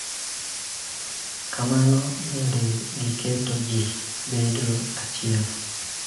Kamano bende, giketo ji bedo achiel.